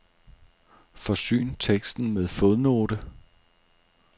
Forsyn teksten med fodnote.